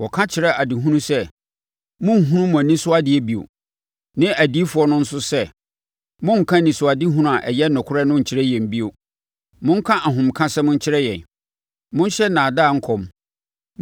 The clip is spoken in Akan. Wɔka kyerɛ adehufoɔ sɛ, “Monnhunu mo ani so adeɛ bio!” ne adiyifoɔ no nso sɛ, “Monnka anisoadehunu a ɛyɛ nokorɛ no nkyerɛ yɛn bio! Monka ahomekasɛm nkyerɛ yɛn, monhyɛ nnaadaa nkɔm.